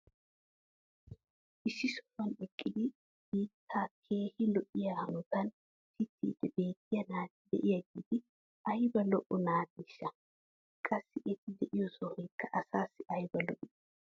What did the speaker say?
Issi sohuwan eqqidi biittaa keehi lo'iya hanotan pitiidi beetiya naati diyaageeti ayba lo'o naateeshsha! Qassi eti diyo sohoykka asaassi ayba lo'ii!